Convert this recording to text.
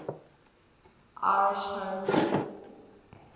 irish home rule